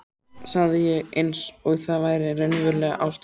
sagði ég eins og það væri raunverulega ástæðan.